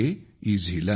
Ezhilan